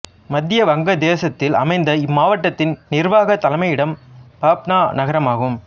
மத்திய வங்காளதேசத்தில் அமைந்த இம்மாவட்டத்தின் நிர்வாகத் தலைமையிடம் பப்னா நகரம் ஆகும்